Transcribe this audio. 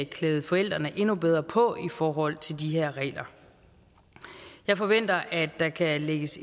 klæde forældrene endnu bedre på i forhold til de her regler jeg forventer at der kan lægges